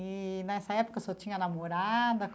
E, nessa época, o senhor tinha namorada?